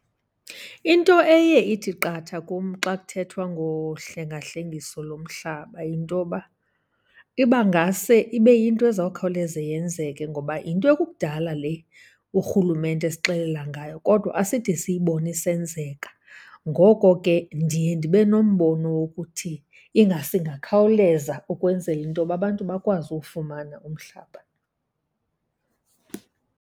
Into eye ithi qatha kum xa kuthethwa ngohlengahlengiso lomhlaba yintoba iba ngase ibe yinto ezawukhawuleze yenzeke ngoba yinto ekukudala le urhulumente esixelela ngayo kodwa aside siyibone isenzeka. Ngoko ke ndiye ndibe nombono wokuthi ingase ingakhawuleza ukwenzela intoba abantu bakwazi uwufumana umhlaba.